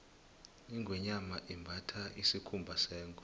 ingweenyama imbatha isikhumba sengwe